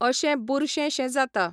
अशे बुरशे शे जाता.